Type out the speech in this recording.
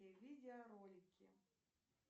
видеоролики